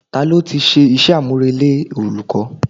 Ta ló ti ṣe iṣẹ́ àmùrè lé olùkọ́?